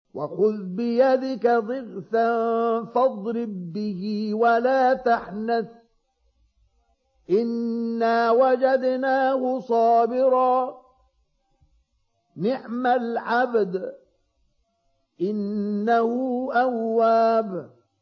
وَخُذْ بِيَدِكَ ضِغْثًا فَاضْرِب بِّهِ وَلَا تَحْنَثْ ۗ إِنَّا وَجَدْنَاهُ صَابِرًا ۚ نِّعْمَ الْعَبْدُ ۖ إِنَّهُ أَوَّابٌ